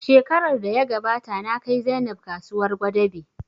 Shekarar da ya gabata na kai Zainab kasuwar Gwadabe